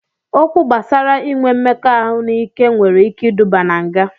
Okwu gbasara inwe mmekọahụ n'ike nwere ike iduba na nga